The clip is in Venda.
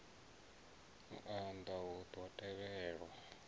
u unḓa hu ḓo tevhelwa